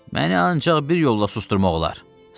"Məni ancaq bir yolla susdurmaq olar."